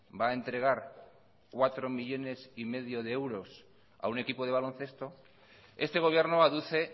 va a entregar cuatro millónes y medio de euros a un equipo de baloncesto este gobierno aduce